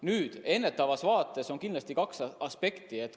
Nüüd, ennetavas vaates on kindlasti kaks aspekti.